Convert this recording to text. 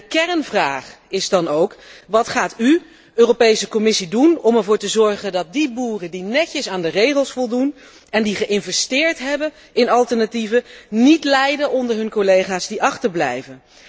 En de kernvraag is dan ook wat gaat u, Europese Commissie, doen om ervoor te zorgen dat boeren die netjes aan de regels voldoen en die geïnvesteerd hebben in alternatieven, niet lijden onder hun collega's die achterblijven.